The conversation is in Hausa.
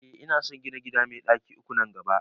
Eh ina son gina gida mai ɗaki uku nan gaba